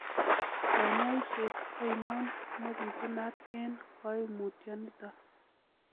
Konyoiset oinon nebitunat en koimutioniton?